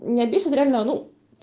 меня бесят реально ну